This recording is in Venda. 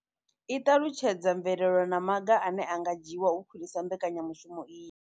I ṱalutshedza mvelelo na maga ane a nga dzhiwa u khwinisa mbekanya mushumo iyi.